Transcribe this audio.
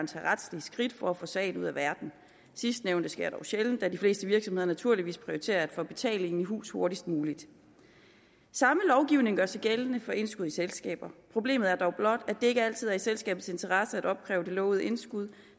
tage retslige skridt for at få sagen ud af verden sidstnævnte sker dog sjældent da de fleste virksomheder naturligvis prioriterer at få betalingen i hus hurtigst muligt samme lovgivning gør sig gældende for indskud i selskaber problemet er dog blot at det ikke altid er i selskabets interesse at opkræve det lovede indskud